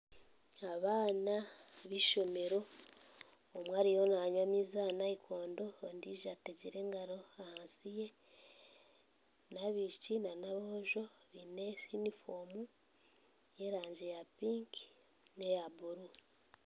Abaana beishomero omwe ariyo nanywa amaizi aha nayikondo ondiijo ategire engaro ahansi ye n'abishiki n'aboojo biine yunifoomu y'erangi ya piiki neya buru